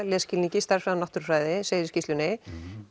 lesskilningi stærðfræði og náttúrufræði segir í skýrslunni